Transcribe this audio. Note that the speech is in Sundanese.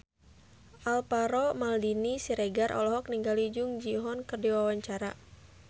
Alvaro Maldini Siregar olohok ningali Jung Ji Hoon keur diwawancara